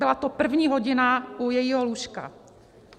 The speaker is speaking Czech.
Byla to první hodina u jejího lůžka.